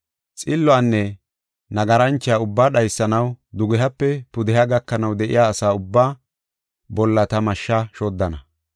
Xilluwanne nagaranchuwa ubba dhaysanaw dugehape pudeha gakanaw de7iya asa ubba bolla ta mashsha shoddana.